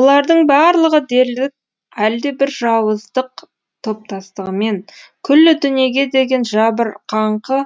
олардың барлығы дерлік әлдебір жауыздық топастығымен күллі дүниеге деген жабырқаңқы